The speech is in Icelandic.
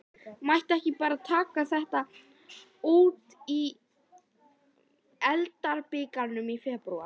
Mætti ekki bara taka þetta út í deildarbikarnum í febrúar?